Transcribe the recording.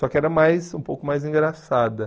Só que era mais, um pouco mais engraçada.